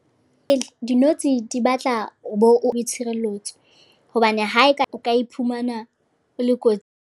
Dinotshi di batla o bo o tshireletso. Hobane ha eka, o ka iphumana o le .